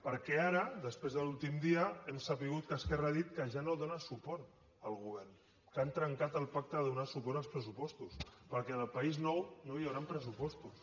perquè ara després de l’últim dia hem sabut que esquerra ha dit que ja no dóna suport al govern que han trencat el pacte de donar suport als pressupostos perquè en el país nou no hi hauran pressupostos